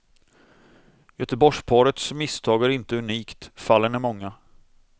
Göteborgsparets misstag är inte unikt, fallen är många.